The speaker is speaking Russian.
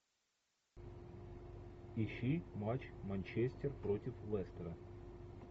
ищи матч манчестер против лестера